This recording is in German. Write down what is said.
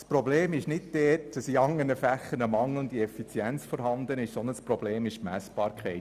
Das Problem besteht nicht darin, dass in den anderen Fächern zu wenig effizient gearbeitet wird, sondern das Problem ist die Messbarkeit.